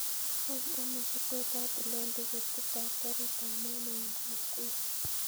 Wany anoo yetot atilen tiketit ab garit ab maat newendi nakuru